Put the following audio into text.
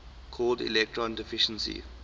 called electron deficiency